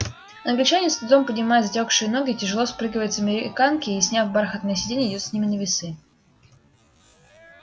англичанин с трудом поднимая затёкшие ноги тяжело спрыгивает с американки и сняв бархатное сиденье идёт с ними на весы